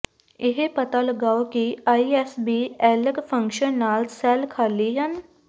ਇਹ ਪਤਾ ਲਗਾਓ ਕਿ I S blank function ਨਾਲ ਸੈੱਲ ਖਾਲੀ ਹਨ